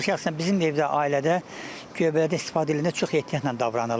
Mən şəxsən bizim evdə, ailədə göbələkdən istifadə edəndə çox ehtiyatla davranırlar.